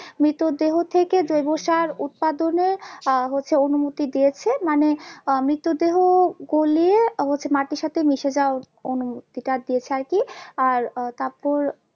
মৃতদেহ থেকে জৈব সার উৎপাদনে আহ হচ্ছে অনুমতি দিয়েছে মানে আহ মৃত দেহ গলিয়ে হচ্ছে মাটির সাথে মিশে যাওয়ার অনুমতি টা দিয়েছে আর কি আর আহ তারপর